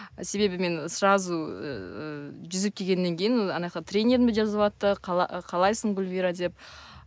себебі мен сразу ыыы жүзіп келгеннен кейін анаяққа тренерім де жазыватты қалайсың гүлвира деп